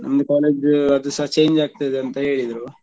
ನಮ್ದು college ದು ಅದುಸ change ಆಗ್ತದೆ ಅಂತ ಹೇಳಿದ್ರು .